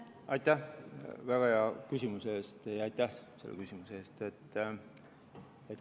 Aitäh väga hea küsimuse eest ja aitäh selle täpsustuse eest!